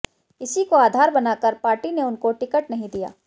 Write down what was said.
इसी को आधार बनाकर पार्टी ने उनको टिकट नहीं दिया